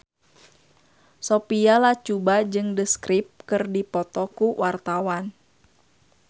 Sophia Latjuba jeung The Script keur dipoto ku wartawan